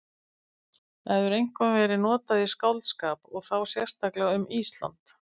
Það hefur einkum verið notað í skáldskap og þá sérstaklega um Ísland.